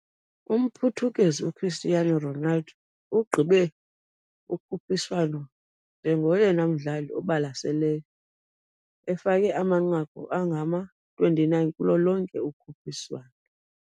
UmPhuthukezi uCristiano Ronaldo ugqibe ukhuphiswano njengoyena mdlali ubalaseleyo, efake amanqaku angama-29 kulo lonke ukhuphiswano.